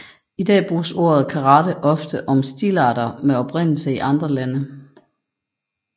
I dag bruges ordet karate også ofte om stilarter med oprindelse i andre lande